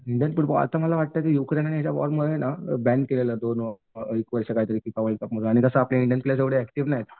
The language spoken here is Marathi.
इंडियन टीम आता मला वाटतंय युक्रेन आणि याच्या वोरमुळे ना अ बॅन केलेलं आहे दोन एक वर्ष फिफामधून आणि तसं ही आपल्याकडे इंडियन प्लेअर्स एवढे ऍक्टिव्ह नाहीत.